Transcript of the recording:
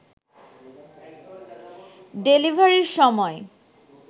ডেলিভারির সময়